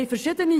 Weshalb dies?